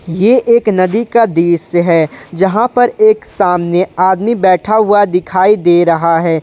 ये एक नदी का दृश्य है जहां पर एक सामने आदमी बैठा हुआ दिखाई दे रहा है।